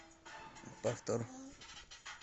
повтор